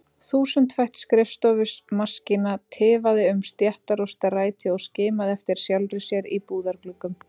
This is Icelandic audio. Þúsundfætt skrifstofumaskína tifaði um stéttar og stræti og skimaði eftir sjálfri sér í búðargluggum.